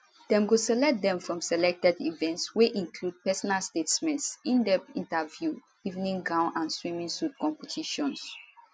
dem go select dem from selected events wey include personal statements indepth interviews evening gown and swimsuit competitions